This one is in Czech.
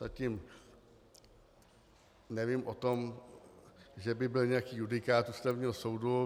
Zatím nevím o tom, že by byl nějaký judikát Ústavního soudu.